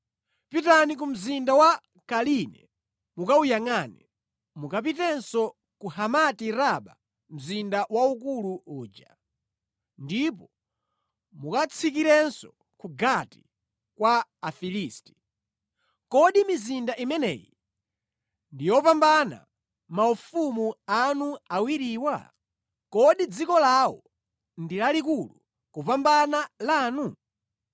Pitani ku mzinda wa Kaline mukawuyangʼane; mukapitenso ku Hamati-raba mzinda waukulu uja, ndipo mukatsikirenso ku Gati kwa Afilisti. Kodi mizinda imeneyi ndi yopambana maufumu anu awiriwa? Kodi dziko lawo ndi lalikulu kupambana lanu?